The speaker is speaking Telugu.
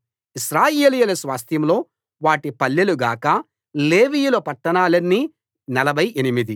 ఇశ్రాయేలీయుల స్వాస్థ్యంలో వాటి పల్లెలుగాక లేవీయుల పట్టణాలన్నీ నలభై ఎనిమిది